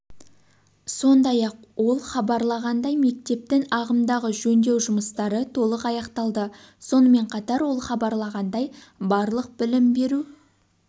сондай-ақ ол хабарлағандай мектептің ағымдағы жөндеу жұмыстары толық аяқталды сонымен қатар ол хабарлағандай барлық білім беру